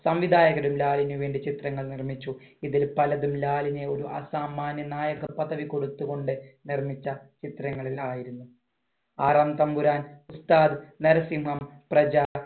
സംവിധായകരും ലാലിനു വേണ്ടി ചിത്രങ്ങൾ നിർമ്മിച്ചു. ഇതിൽ പലതിലും ലാലിന് അസാമാന്യനായക പദവി കൊടുത്തുകൊണ്ട് നിർമ്മിച്ച ചിത്രങ്ങളിൽ ആയിരുന്നു. ആറാംതമ്പുരാൻ, ഉസ്താദ്, നരസിംഹം, പ്രജ,